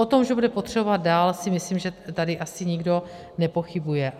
O tom, že bude potřebovat dál, si myslím, že tady asi nikdo nepochybuje.